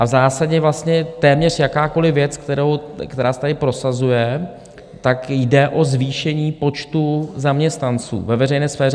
A v zásadě vlastně téměř jakákoliv věc, která se tady prosazuje, tak jde o zvýšení počtu zaměstnanců ve veřejné sféře.